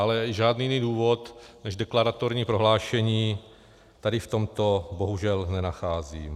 Ale žádný jiný důvod než deklaratorní prohlášení tady v tomto bohužel nenacházím.